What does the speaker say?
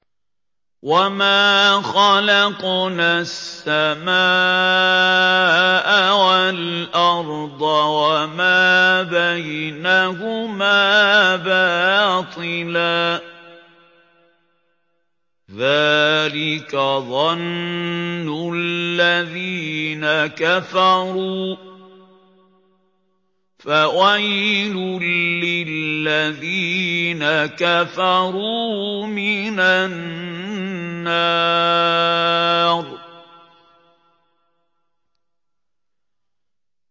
وَمَا خَلَقْنَا السَّمَاءَ وَالْأَرْضَ وَمَا بَيْنَهُمَا بَاطِلًا ۚ ذَٰلِكَ ظَنُّ الَّذِينَ كَفَرُوا ۚ فَوَيْلٌ لِّلَّذِينَ كَفَرُوا مِنَ النَّارِ